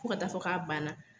Fo ka taa fɔ k'a banna